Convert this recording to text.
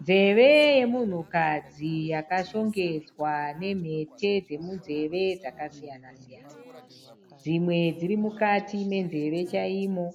Nzeve yemunhukadzi yakashongedzwa nemhete dzemunzeve dzakasiyana siyana. Dzimwe dziri mukati menzeve chaimo.